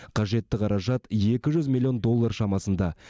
қажетті қаражат екі жүз миллион доллар шамасында